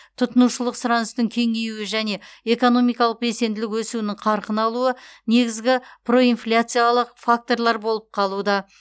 тұтынушылық сұраныстың кеңеюі және экономикалық белсенділік өсуінің қарқын алуы негізгі проинфляциялық факторлар болып қалуда